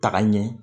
Taka ɲɛ